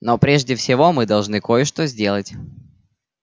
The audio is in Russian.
но прежде всего мы должны кое-что сделать